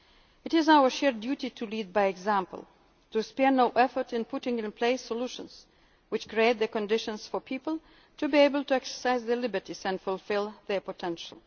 the years to come. It is our shared duty to lead by example. To spare no effort in putting in place solutions which create the conditions for people to be able to exercise their liberties and fulfil